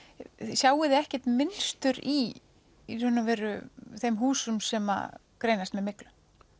sjáið þið ekkert mynstur í í raun og veru þeim húsum sem greinast með myglu